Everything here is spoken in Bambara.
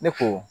Ne ko